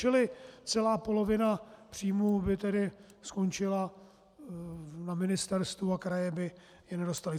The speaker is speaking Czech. Čili celá polovina příjmů by tedy skončila na ministerstvu a kraje by je nedostaly.